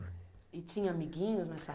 E tinha amiguinhos nessa